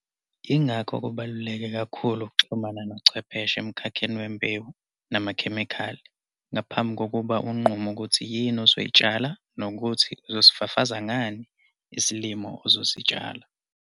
Yingakho kubaluleke kakhulu ukuxhumana nochwepheshe emkhakheni wembewu namakhemikhali ngaphambi kokuba unqume ukuthi yini ozoyitshala nokuthi uzosifafaza ngani isilimo ozositshala.